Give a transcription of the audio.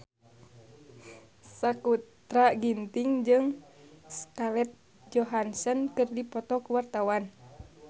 Sakutra Ginting jeung Scarlett Johansson keur dipoto ku wartawan